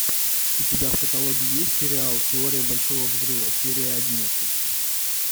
у тебя в каталоге есть сериал теория большого взрыва серия одиннадцать